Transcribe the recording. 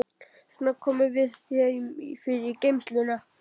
Þess vegna komum við þeim fyrir í geymslunum.